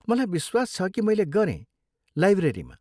मलाई विश्वास छ कि मैले गरेँ, लाइब्रेरीमा।